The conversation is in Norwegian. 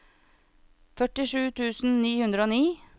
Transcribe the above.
førtisju tusen ni hundre og ni